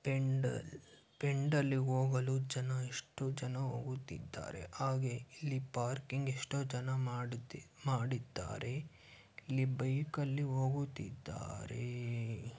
ಪೆಂಡಾಲ್ ಪೆಂಡಾಲ್ಲಿಗೆ ಹೋಗಲು ಜನ ಎಷ್ಟು ಜನ ಹೋಗುತ್ತೀದ್ದಾರೆ. ಹಾಗೆ ಇಲ್ಲಿ ಪಾರ್ಕಿಂಗ್ ಎಷ್ಟೋ ಜನ ಮಾಡುತಿ -ಮಾಡಿದ್ದಾರೆ ಇಲ್ಲಿ ಬೈಕ್ ಅಲ್ಲಿ ಹೋಗುತ್ತೀದ್ದಾರೆ.